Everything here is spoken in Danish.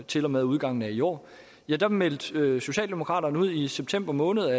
til og med udgangen af i år meldte socialdemokraterne i september måned